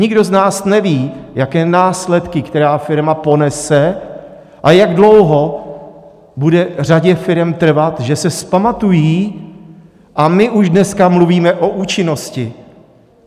Nikdo z nás neví, jaké následky která firma ponese a jak dlouho bude řadě firem trvat, že se vzpamatují, a my už dneska mluvíme o účinnosti.